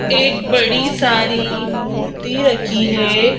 एक बड़ी सारी मूर्ति रखी है।